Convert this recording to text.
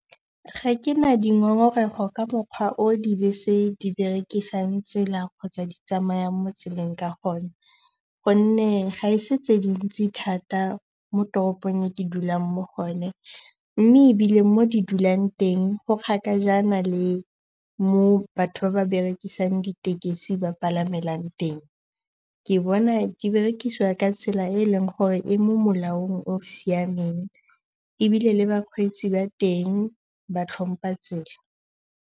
Ga ke na dingongorego ka mokgwa o dibese di berekisang tsela kgotsa di tsamayang mo tseleng ka gone gonne ga e se tse dintsi thata mo toropong e ke dulang mo go yone. Mme ebile mo di dulang teng, go kgakajana le mo batho ba ba berekisang ditekesi ba palamelang teng. Ke bona di berekisiwa ka tsela e e leng gore e mo molaong o siameng ebile le bakgweetsi ba teng ba tlhompa tsela.